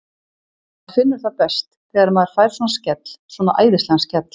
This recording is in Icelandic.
Maður finnur það best þegar maður fær svona skell, svona æðislegan skell.